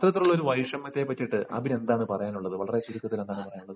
അത്തരത്തിലുള്ള ഒരു വൈഷമ്യത്തെ പറ്റിയിട്ട് അബിന് എന്താണ് പറയാനുള്ളത് വളരെ ചുരുക്കത്തിൽ എന്താണ് പറയാനുള്ളത്